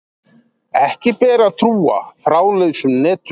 Ekki ber að trúa þráðlausum netum.